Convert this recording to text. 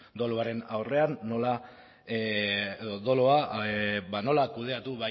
doluaren aurrean nola edo dolua nola kudeatu